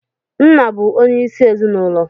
Nna bụ onyeisi ezinụlọ